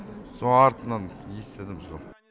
соны артынан естідім сол